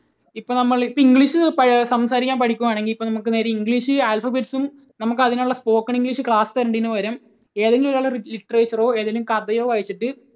ഇപ്പോൾ നമ്മൾ ഇപ്പോൾ English ൽ സംസാരിക്കാൻ പഠിക്കുകയാണെങ്കിൽ ഇപ്പോൾ നമുക്ക് English alphabets ഉം നമുക്ക് അതിനുള്ള spoken English class തരേണ്ടതിനുപകരം ഏതെങ്കിലും ഒരാളുടെ literature ഓ ഏതെങ്കിലും കഥയോ വായിച്ചിട്ട്